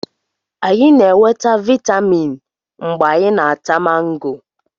Anyị na-enweta vitamin mgbe anyị na-ata mango